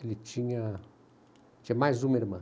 Ele tinha tinha mais uma irmã.